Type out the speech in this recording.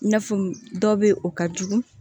I n'a fɔ dɔ bɛ o ka jugu